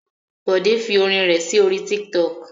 Bòdé fi orin rẹ̀ sí orí Tiktok.